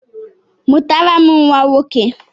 Mụtara m nwa nwoke!